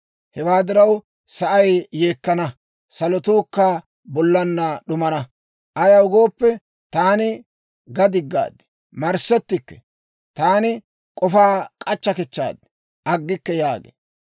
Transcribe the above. Hewaa diraw, sa'ay yeekkana; salotuukka bollan d'umana. Ayaw gooppe, taani ga diggaad; marssettikke. Taani k'ofaa k'achcha kichchaad; aggikke» yaagee.